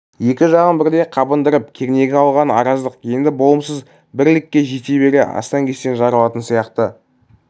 екі жағын бірдей қабындырып кернегі алған араздық енді болымсыз бір ілікке жете бере астаң-кестен жарылатын сияқты